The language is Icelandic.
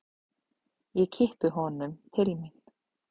Ég kippi honum til mín.